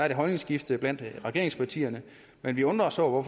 et holdningsskifte blandt regeringspartierne men vi undrer os over